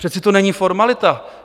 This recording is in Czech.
Přece to není formalita.